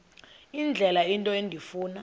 indlela into endifuna